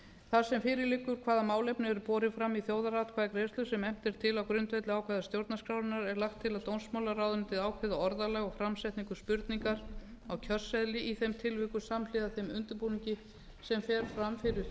þar sem fyrir liggur hvaða málefni eru borin fram í þjóðaratkvæðagreiðslu sem efnt er til á grundvelli ákvæða stjórnarskrárinnar er lagt til að dómsmálaráðuneytið ákveði orðalag og framsetningu spurningar á kjörseðli í þeim tilvikum samhliða þeim undirbúningi sem fer fram fyrir